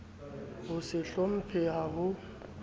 ho se hlomphehe ha ho